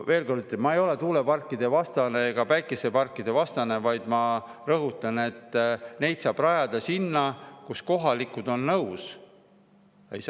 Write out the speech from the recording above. Veel kord ütlen: ma ei ole tuuleparkide vastane ega päikeseparkide vastane, vaid ma rõhutan, et neid saab rajada sinna, kus kohalikud on nõus.